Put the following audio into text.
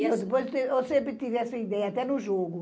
Eu sempre tive essa ideia, até no jogo.